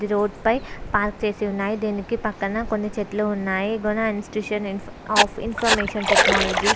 ఏది రోడ్ పైనా పార్క్ చేసే ఉన్నాయి దేనికి పక్క న కొని చెట్లు ఉన్నాయి Guna institution of information technology --